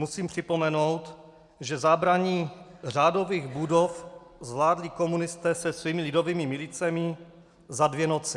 Musím připomenout, že zabrání řádových budov zvládli komunisté se svými lidovými milicemi za dvě noci.